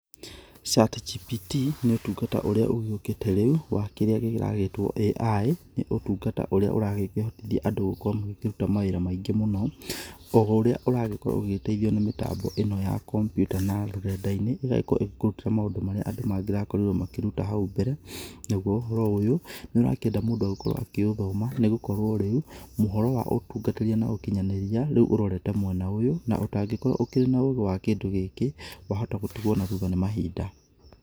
Chatgpt nĩ ũtungata ũrĩa ũgĩũkĩte rĩu wa kĩrĩa kĩragĩtwo AI, nĩ ũtungata ũrĩa ũragĩkĩhotithia andũ gũkorwo magĩkĩruta mawĩra maingĩ mũno, o ũrĩa ũragĩkorwo ũgĩgĩteithio nĩ mĩtambo ĩno ya kompyuta na rũrenda-inĩ, rũgagĩkorwo rũgĩgũteithia kũruta mawĩra marĩa andũ mangĩrakorirwo makĩruta hau mbere, naguo ũhoro ũyũ nĩ ũrakĩenda mũndũ agĩkorwo akĩũthoma nĩ gũkorwo rĩu, ũhoro wa ũtungatĩria na ũkinyanĩria rĩu ũrorete mwena ũyũ, na ũtangĩkorwo ũkĩrĩ na ũũgĩ wa kĩndũ gĩkĩ, wahota gũtigwo na thutha nĩ mahinda.